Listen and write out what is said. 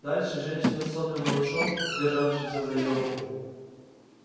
дальше женщина с сонным малышом державшимся за её руку